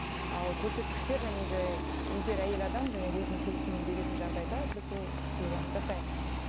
ал көрсеткіштер егер әйел адам өзінің келісімін беретін жағдайда біз ол процедураны жасаймыз